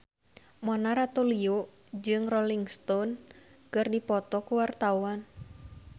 Mona Ratuliu jeung Rolling Stone keur dipoto ku wartawan